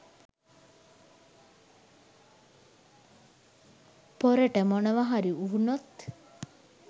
පොරට මොනවාහරි උනෝත්.